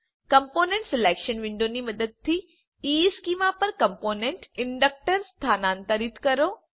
component selection વિન્ડોની મદદથી ઇશ્ચેમાં પર કમ્પોનન્ટ ઇન્ડકટર સ્થાનાંતરિત કરો